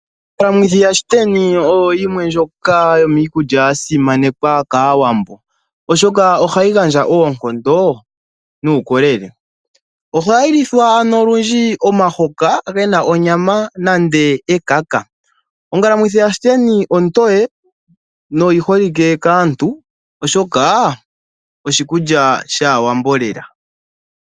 Ongalamwithi yashiteni oyo yimwe ndjoka yomiikulya ya simanekwa kaAwbo oshoka ohayi gandja oonkondo nuukolele. Ohayi lithwa ano olundji omahoka gena onyama nande ekaka. Ongalamwithi yashiteni ontoye noyi holike kaantu oshoka oshikulya shaAwambo lela.